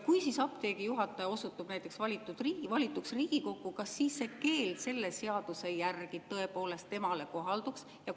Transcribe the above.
Kui apteegi juhataja osutub näiteks valituks Riigikokku, kas siis see keeld selle seaduse järgi temale kohalduks?